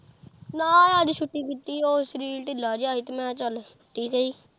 ਨਾ ਅੱਜ ਛੁੱਟੀ ਕੀਤੀ ਓ ਸਰੀਰ ਢਿੱਲਾ ਜਿਹਾ ਸੀ ਮੈਂ ਕਿਹਾ ਚੱਲ ਛੁੱਟੀ ਸਹੀ।